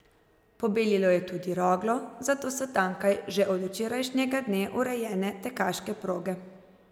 Pobelilo je tudi Roglo, zato so tamkaj že od včerajšnjega dne urejene tekaške proge.